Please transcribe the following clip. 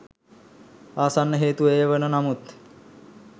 ආසන්න හේතුව එය වන නමුත්